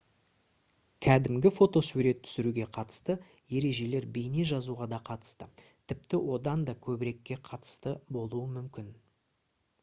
кәдімгі фотосурет түсіруге қатысты ережелер бейне жазуға да қатысты тіпті одан да көбірекке қатысты болуы мүмкін